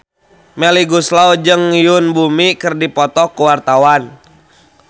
Melly Goeslaw jeung Yoon Bomi keur dipoto ku wartawan